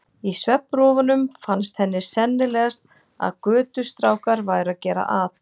Í svefnrofunum fannst henni sennilegast að götustrákar væru að gera at.